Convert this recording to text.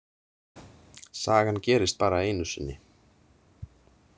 Sagan gerist bara einu sinni.